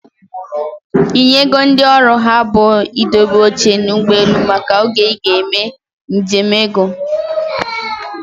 Ị nyego ndị ọrụ ha bụ i dobe oche n'ụgbọelu maka oge ị ga-eme nje m ego?